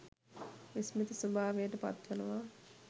විස්මිත ස්වභාවයට පත්වනවා.